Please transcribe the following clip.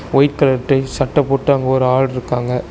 White colour type சட்ட போட்டு அங்கு ஒரு ஆள்ருக்காங்க.